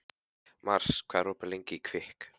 Mars, hvað er opið lengi í Kvikk?